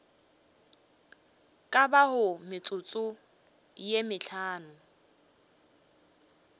ka bago metsotso ye mehlano